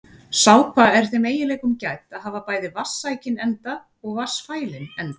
Sápa er þeim eiginleikum gædd að hafa bæði vatnssækinn enda og vatnsfælinn enda.